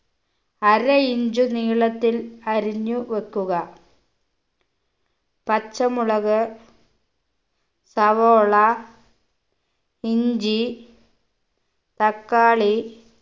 അര inch നീളത്തിൽ അറിഞ്ഞു വെക്കുക പച്ചമുളക് സവോള ഇഞ്ചി തക്കാളി